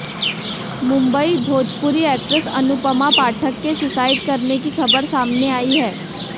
Mumbai Bhojpuri actress Anupama Pathak के suicide करने की खबर सामने आई है